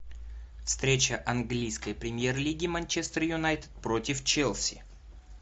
встреча английской премьер лиги манчестер юнайтед против челси